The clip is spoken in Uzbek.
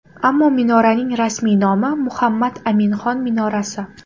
Ammo minoraning rasmiy nomi Muhammad Aminxon minorasi.